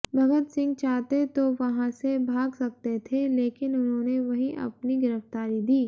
भगत सिंह चाहते तो वहां से भाग सकते थे लेकिन उन्होंने वहीं अपनी गिरफ्तारी दी